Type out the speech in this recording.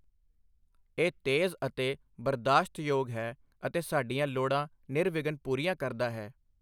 ਇਹ ਤੇਜ਼ ਅਤੇ ਬਰਦਾਸ਼ਤਯੋਗ ਹੈ ਅਤੇ ਸਾਡੀਆਂ ਲੋੜਾਂ ਨਿਰਵਿਘਨ ਪੂਰੀਆਂ ਕਰਦਾ ਹੈ।